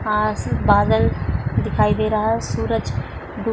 आस बादल दिखाई दे रहा है सूरज डू --